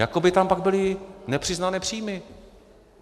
Jako by tam pak byly nepřiznané příjmy.